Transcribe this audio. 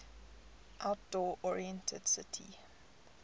outdoor oriented city